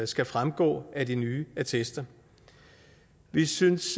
skal fremgå af de nye attester vi synes